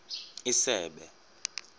isebe